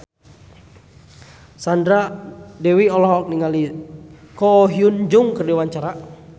Sandra Dewi olohok ningali Ko Hyun Jung keur diwawancara